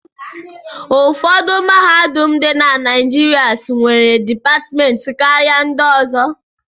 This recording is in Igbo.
Ụfọdụ mahadum dị na Naịjịrịs nwere dipatịmentị karịa ndị ọzọ.